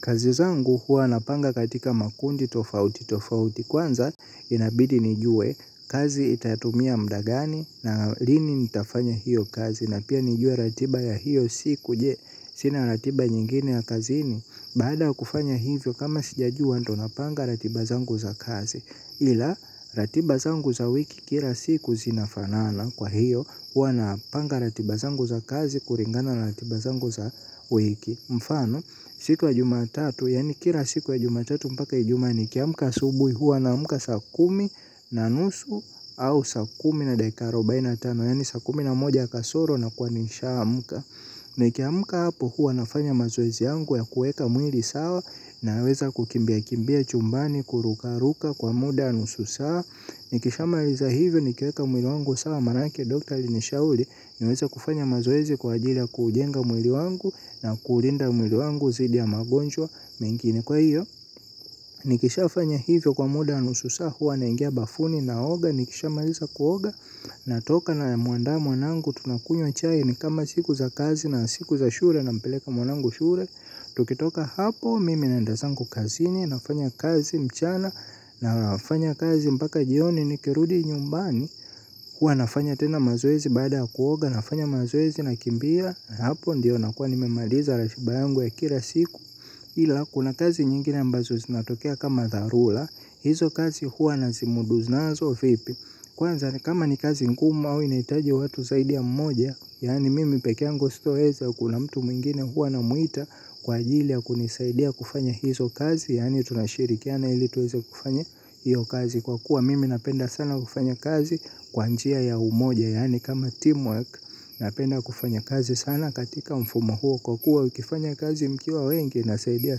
Kazi zangu huwa napanga katika makundi tofauti tofauti kwanza inabidi nijue kazi itatumia muda gani na lini nitafanya hiyo kazi na pia nijue ratiba ya hiyo siku je sina ratiba nyingine ya kazini. Baada ya kufanya hivyo kama sijajua ndo napanga ratiba zangu za kazi ila ratiba zangu za wiki kila siku zinafanana kwa hiyo huwa napanga ratiba zangu za kazi kulingana ratiba zangu za wiki. Mfano, siku ya jumatatu, yani kila siku ya jumatatu mpaka ijuma nikiamka asubuhi huwa naamka sakumi na nusu au saa kuumi na dakika arobaini na tano, yani saa kumi na moja kasoro na kuwa nishaamka. Nikiamka hapo huwa nafanya mazoezi yangu ya kuweka mwili sawa naweza kukimbia kimbia chumbani, kuruka ruka kwa muda wa nusu saa. Nikisha maliza hivyo nikiweka mwili wangu sawa maanke Dr. Alinishauri niweza kufanya mazoezi kwa ajili ya kujenga mwili wangu na kuulinda mwili wangu dhidi ya magonjwa mengine kwa hiyo. Nikisha fanya hivyo kwa muda wa nusuu saa huwa naingia bafuni naoga nikisha maliza kuoga natoka na muandaa mwanangu tunakunywa chai na kama siku za kazi na siku za shule nampeleka mwanangu shule. Tukitoka hapo mimi naenda zangu kazini nafanya kazi mchana nafanya kazi mpaka jioni nikirudi nyumbani. Huwa nafanya tena mazoezi baada kuoga nafanya mazoezi nakimbia. Hapo ndiyo nakua nimemaliza ratiba yangu ya kila siku. Hila kuna kazi nyingine ambazo zinatokea kama darura. Hizo kazi hua nazimudu nazo vipi. Kwanza kama ni kazi ngumu au inahitaji watu zaidi ya mmoja yani mimi pekeangu sitoweza kuna mtu mwingine hua namuita kwa ajili ya kunisaidia kufanya hizo kazi yani tunashirikiana ili tuweze kufanya hiyo kazi kwa kuwa mimi napenda sana kufanya kazi kwa njia ya umoja yani kama teamwork napenda kufanya kazi sana katika mfumo huo kwa kuwa ukifanya kazi mkiwa wengi inasaidia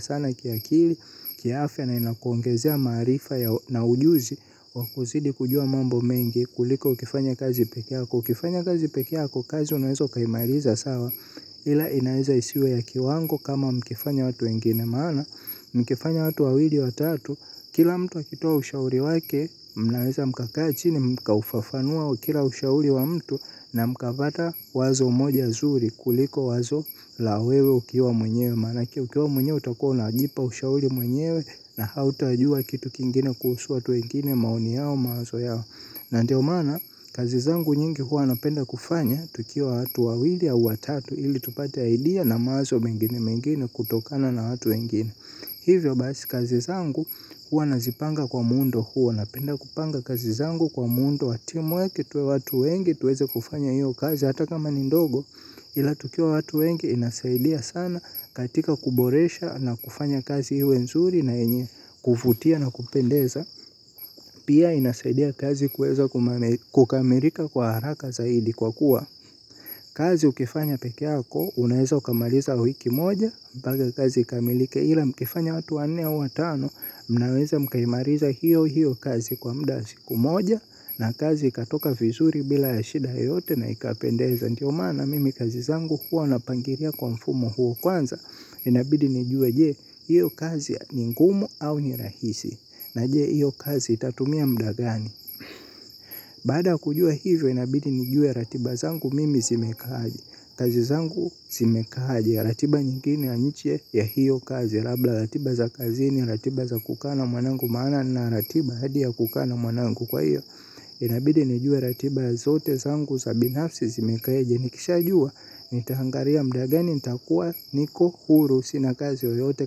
sana kiakili kiafya na inakuongezea marifa na ujuzi wakuzidi kujua mambo mengi kuliko ukifanya kazi pekeako. Ukifanya kazi pekeako kazi unawezo ukaimaliza sawa ila inaeza isiwe ya kiwango kama mkifanya watu wengi maana mkifanya watu wawili watatu kila mtu akitoa ushauri wake mnaeza mkakaa chini mka ufafanua kila ushauri wa mtu na mkapata wazo moja zuri kuliko wazo la wewe ukiwa mwenyewe manake ukiwa mwenyewe utakua na ajipa ushauri mwenyewe na hauta jua kitu kingine kuhusu watu wengine maoni yao mawazo yao. Na ndio mana kazi zangu nyingi huwa napenda kufanya tukiwa watu wawili au watatu ili tupate idea na mawazo mengine mengine kutokana na watu wengine. Hivyo basi kazi zangu huwa nazipanga kwa muundo huwa napenda kupanga kazi zangu kwa muundo. Tuwe watu wengi tuweze kufanya hiyo kazi hata kama ni ndogo ila tukiwa watu wengi inasaidia sana katika kuboresha na kufanya kazi iwe nzuri na yenye kuvutia na kupendeza. Huwa nafanya tena mazoezi baada kuoga nafanya mazoezi na kimbia. Hapo ndiyo nakua nimemaliza ratiba yangu ya kila siku ila kuna kazi zingine ambazo zinatokea kama dharula. Hizo kazi huwa nazimuudu nazo vipi. Kwanza kama ni kazi nkuma au inaitaje watu saidia mmoja. Kazi ukifanya pekeako, unaeza ukamaliza wiki moja. Mpaka kazi ikamilike ila mkifanya watu wanne au watano. Mnaweza mkaimaliza hiyo hiyo kazi kwa muda wa siku moja. Na kazi ikatoka vizuri bila ya shida yote na ikapendeza. Ndio mana mimi kazi zangu huo napangilia kwa mfumo huo kwanza. Inabidi nijua je, hiyo kazi ni ngumu au ni rahisi. Na je hiyo kazi itatumia muda gani. Bada kujua hivyo inabidi nijue ratiba zangu mimi zimekaaje. Kazi zangu zimekaaje. Ratiba nyingine nje ya hiyo kazi labla ratiba za kazini ratiba za kukaa mwanangu maana nina ratiba hadi ya kukaa na mwanangu kwa hiyo. Inabidi nijue ratiba zote zangu za binafsi zimekaaje. Nikishajua nitahangaria muda gani. Nitakuwa niko huru sina kazi yoyote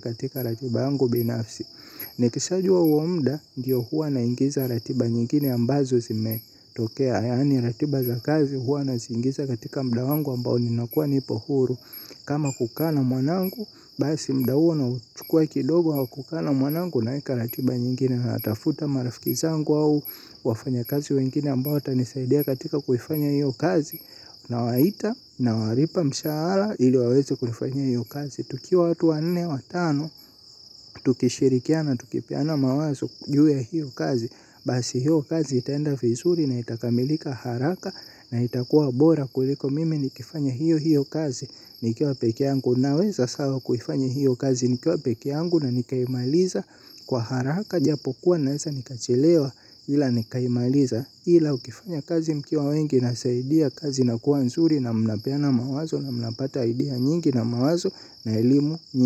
katika ratiba yangu binafsi. Nikishajua huo muda ndiyo huwa naingiza ratiba nyingine ambazo zimetokea. Yani ratiba za kazi huwa naziingiza katika muda wangu ambao ninakuwa nipo huru. Kama kukaaa na mwanangu, basi muda huo na uchukua kidogo au kukaa na mwanangu naeka ratiba nyingine. Natafuta marafiki zangu au wafanya kazi wengine ambao watanisaidia katika kuifanya hiyo kazi. Nawaita na walipa mshara ili waweze kufanya iyo kazi. Tukiwa watu wa nne watano, tukishirikiana tukipeana mawazo juwe hiyo kazi basi hiyo kazi itaenda vizuri na itakamilika haraka na itakuwa bora kuliko mimi nikifanya hiyo hiyo kazi nikiwa pekeangu. Naweza sawa kufanya hiyo kazi nikiwa pekeangu na nikaimaliza kwa haraka. Japo kuwa naeza nikachelewa ila nikaimaliza ila ukifanya kazi mkiwa wengi insaidia kazi inakuwa nzuri na mnapeana mawazo na mnapata idea nyingi na mawazo na elimu nyingi.